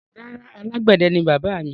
Rárá, alágbẹ̀dẹ ni bàbáà mi.